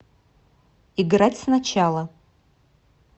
играть сначала